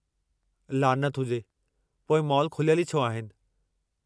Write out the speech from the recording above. लानत हुजे! पोइ मॉल खुलियलु ई छो आहिनि?